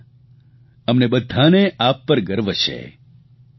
એકતા અમને બધાને આપ પર ગર્વ છે